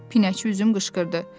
Pinəçi üzüm qışqırdı.